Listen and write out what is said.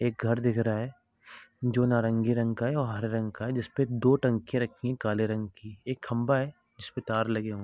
एक घर दिख रहा है जो नारंगी रंग का है और हरे रंग का है जिसपे दो टंकी रखी है काले रंग की | एक खबा है जिसपे तार लगे हैं |